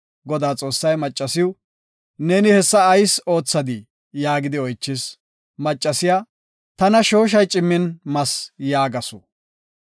Godaa Xoossay, maccasiw, “Neeni hessa ayis oothadii?” yaagidi oychis. Maccasiya, “Tana shooshay cimmin mas” yaagasu.